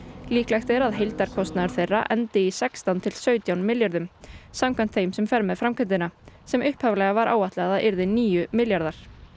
líklegt er að heildarkostnaður þeirra endi í sextán til sautján milljörðum samkvæmt þeim sem fer með framkvæmdina sem upphaflega var áætlað að yrði níu milljarðar